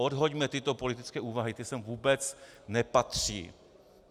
Odhoďme tyto politické úvahy, ty sem vůbec nepatří.